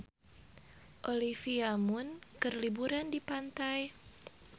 Olivia Munn keur liburan di pantai